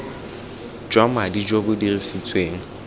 jwa madi jo bo dirisitsweng